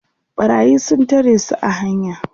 ɓarayi sun tare su a hanya